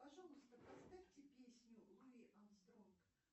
пожалуйста поставьте песню луи армстронг